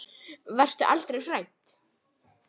Varstu aldrei hrædd?